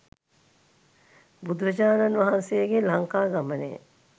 බුදුරජාණන් වහන්සේගේ ලංකාගමනය,